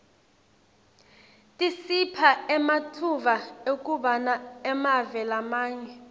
tisipha ematfuba ekubana emave lamanye